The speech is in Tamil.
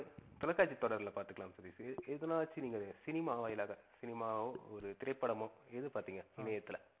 தொலைக்காட்சி தொடர்ல பாத்துக்கலாமே சதீஷ் எதனாச்சு நீங்க cinema வாயிலாக cinema வோ, ஒரு திரைப்படமோ எது பாத்திங்க? இணையத்துல